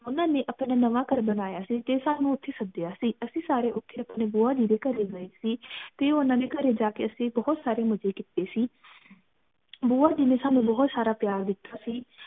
ਓਨਾ ਨਏ ਆਪਣਾ ਨਾਵੈ ਘਰ ਬਨਾਯਾ ਸੀ ਤੇ ਸਾਨੂ ਉਥੇ ਸਾਡੀਆਂ ਸੀ ਅਸੀਂ ਸਾਰੇ ਉਥੇ ਆਪਣੇ ਬੁਆ ਜੀ ਦੇ ਘਰੇ ਗਏ ਸੀ ਤੇ ਊਨਾ ਦੇ ਘਰੇ ਜਾਕੇ ਅਸੀਂ ਬਹੁਤ ਸਾਰੇ ਮਜੇ ਕੀਤੇ ਸੀ ਬੁਆ ਜੀ ਨਏ ਸਾਨੂ ਬਹੁਤ ਸਾਰਾ ਪਿਆਰ ਦਿਤਾ ਸੀ